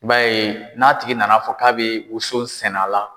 I b'a ye n'a tigi nana fɔ k'a bɛ woson sɛnɛ a la